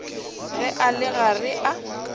ge a le gare a